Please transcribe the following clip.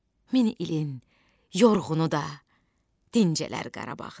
Min ilin yorğunu da dincələr Qarabağda.